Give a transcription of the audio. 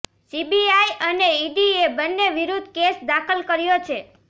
CBI અને ઈડીએ બંને વિરુદ્ધ કેસ દાખલ કર્યો છે